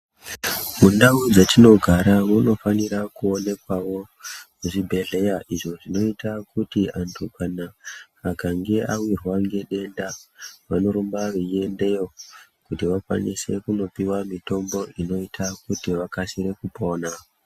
Mundau dzetinogara munofanira kuonekwawo zvibhehleya izvo zvinoita kuti vanhu kana akange awirwa ngedenda vanorumba veiendeyo kuti vakwanise kunopiwa mitombo inoita kuti vakwanise kupona.